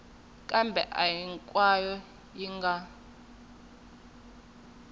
kambe a hinkwayo yi nga